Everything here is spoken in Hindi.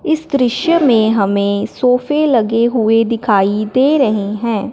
इस दृश्य में हमें सोफे लगे हुए दिखाई दे रही हैं।